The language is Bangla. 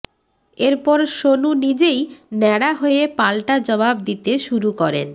এরপর সোনু নিজেই ন্যাড়া হয়ে পালটা জবাব দিতে শুরু করেন